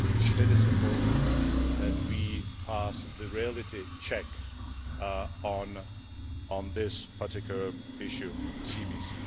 it is important that we pass the reality check on this particular issue of CBC.